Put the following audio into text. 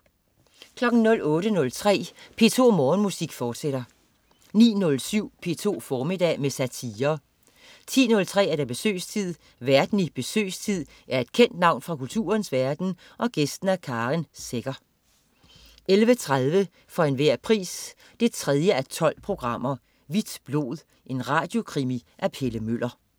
08.03 P2 Morgenmusik, fortsat 09.07 P2 formiddag med satire 10.03 Besøgstid. Værten i "Besøgstid" er et kendt navn fra kulturens verden, gæsten er Karen Secher 11.30 For enhver pris 3:12. Hvidt blod. En radiokrimi af Pelle Møller